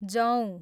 जौ